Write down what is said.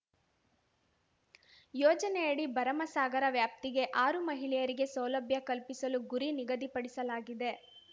ಯೋಜನೆಯಡಿ ಭರಮಸಾಗರ ವ್ಯಾಪ್ತಿಗೆ ಆರು ಮಹಿಳೆಯರಿಗೆ ಸೌಲಭ್ಯ ಕಲ್ಪಿಸಲು ಗುರಿ ನಿಗದಿಪಡಿಸಲಾಗಿದೆ